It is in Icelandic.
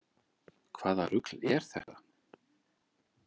Hvaða rugl er þetta?